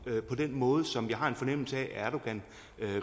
på den måde som jeg har en fornemmelse af at erdogan